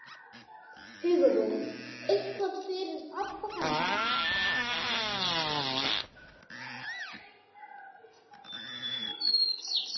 Hugrún: Eitthvað fyrir pabba kannski?